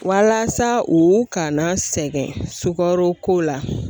Walasa u kana sɛgɛn sukaro ko la.